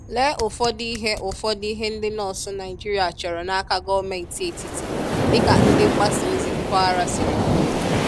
Lee ụfọdụ ihe ụfọdụ ihe ndị nọọsụ Naịjirịa chọrọ n'aka gọọmenti etiti dịka ndị mgbasaozi mpaghara siri kwuo